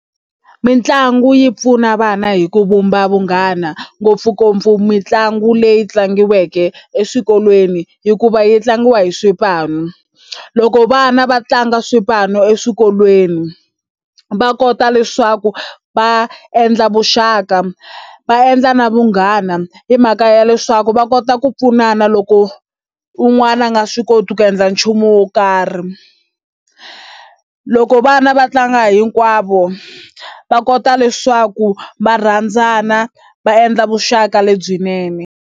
Mitlangu yi pfuna vana hi ku vumba vunghana ngopfungopfu mitlangu leyi tlangiweke eswikolweni hikuva yi tlangiwa hi swipano. Loko vana va tlanga swipano eswikolweni va kota leswaku va endla vuxaka va endla na vunghana hi mhaka ya leswaku va kota ku pfunana loko un'wana a nga swi koti ku endla nchumu wo karhi. Loko vana va tlanga hinkwavo va kota leswaku va rhandzana va endla vuxaka lebyinene.